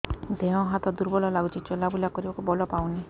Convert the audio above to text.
ଦେହ ହାତ ଦୁର୍ବଳ ଲାଗୁଛି ଚଲାବୁଲା କରିବାକୁ ବଳ ପାଉନି